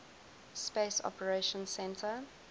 space operations centre